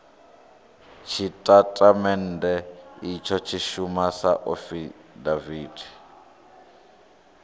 tshitatamennde itsho tshi shuma sa afidaviti